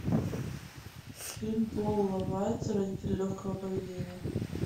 фильм пола вайца родители легкого поведения